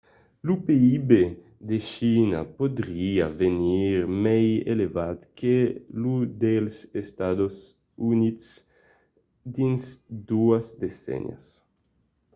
lo pib de china podriá venir mai elevat que lo dels estats units dins doas decennias